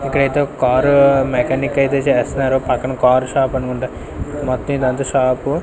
ఇంకైతే ఒక car mechanic అయితే చెస్నారు పక్కన కార్ షాప్ అనుకుంటా మొత్తం ఇదంతా షాపు .